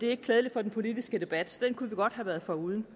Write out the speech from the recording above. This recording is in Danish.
er ikke klædelig for den politiske debat så den kunne vi godt have været foruden